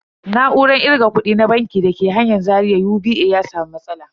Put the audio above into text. Na'urar kirga kudi na banki da ke kan hanyar Zaria UBA ya samu matsala.